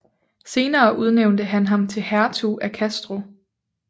Senere udnævnte han ham til hertug af Castro